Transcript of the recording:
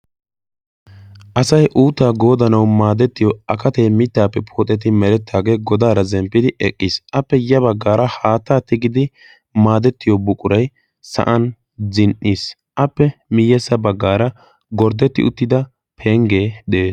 asai uuttaa goodanau maadettiyo akatee mittaappe pooxeti merettaagee godaara zemppidi eqqiis. appe ya baggaara haattaa tigidi maadettiyo buqurai sa7an zin77iis. appe miyyessa baggaara gorddetti uttida penggee de7ees.